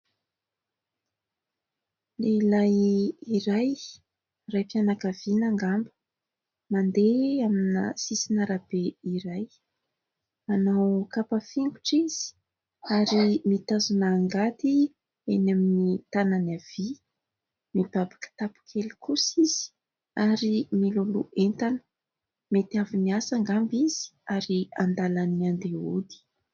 Lehilahy iray raim-pianakaviana angamba. Mandeha amin'ny sisin'ny arabe iray, manao kapa fingotra izy ary mitazona angady eny amin'ny tanany havia, mibaby kitapo kely kosa izy ary miloloha entana. Mety avy niasa angamba izy ary an-dalana andeha hody.